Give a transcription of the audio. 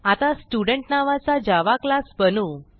आता स्टुडेंट नावाचा Java class बनवू